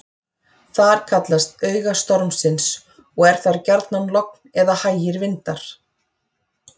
Þar kallast auga stormsins og er þar gjarnan logn eða hægir vindar.